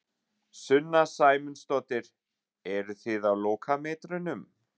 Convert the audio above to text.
Sunna Sæmundsdóttir: Eruð þið á lokametrunum?